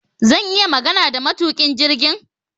Zan iya magana da matukin jirgin?